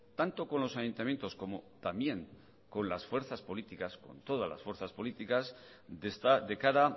tanto con los ayuntamientos como también con las fuerzas políticas con todas las fuerzas políticas de cara